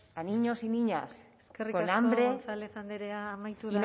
a niños y niñas con hambre y no pudiendo reutilizar eskerrik asko gonzález andrea amaitu